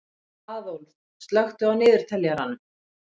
Aðólf, slökktu á niðurteljaranum.